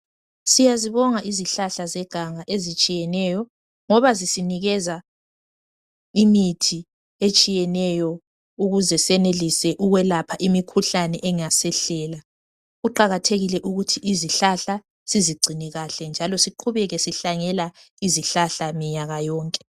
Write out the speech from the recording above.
Siyazibonga izihlahla zeganga ezitshiyeneyo ngoba zisinikeza imithi etshiyeneyo ukuze senelise ukwelapha imikhuhlane engasehlela. kuqakathekile ukuthi izihlahla sizigcine kahle njalo siqhubeke sihlanyela izihlahla minyaka yonke